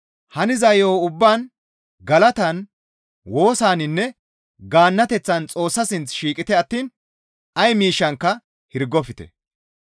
Haniza yo7on ubbaan galatan, woosaninne gaannateththan Xoossa sinth shiiqite attiin ay miishshankka hirgofte.